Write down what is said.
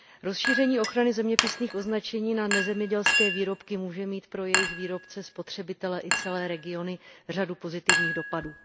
Rozšíření ochrany zeměpisných označení na nezemědělské výrobky může mít pro jejich výrobce, spotřebitele i celé regiony řadu pozitivních dopadů.